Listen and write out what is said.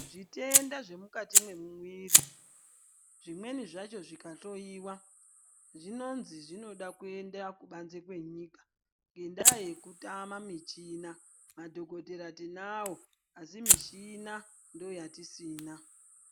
Zvitenda zvemukati memwiri zvimweni zvacho zvikahloyiwa zvinozi zvinoda kuenda kubanze kwenyika ngendaa yekutama michina madhokodhera tinao asi michina ndooyatisina.